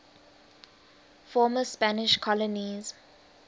former spanish colonies